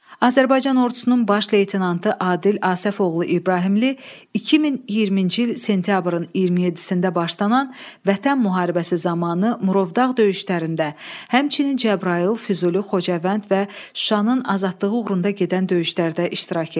Azərbaycan ordusunun baş leytenantı Adil Asəfoğlu İbrahimli 2020-ci il sentyabrın 27-də başlanan Vətən müharibəsi zamanı Murovdağ döyüşlərində, həmçinin Cəbrayıl, Füzuli, Xocavənd və Şuşanın azadlığı uğrunda gedən döyüşlərdə iştirak eləyib.